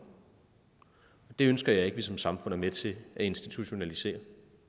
det ønsker jeg ikke at vi som samfund er med til at institutionalisere